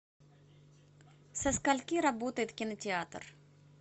со скольки работает кинотеатр